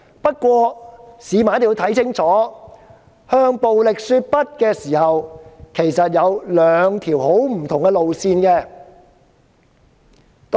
不過，市民一定要看清楚，在向暴力說不的時候，其實有兩條很不同的路線。